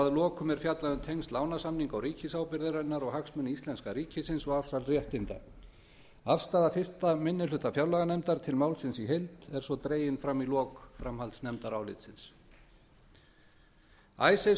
að lokum er fjallað um tengsl lánasamninga og ríkisábyrgðarinnar og hagsmuni íslenska ríkisins og afsal réttinda afstaða fyrsti minni hluta fjárlaganefndar til málsins í heild er svo dregin fram í lok framhaldsnefndarálitsins icesave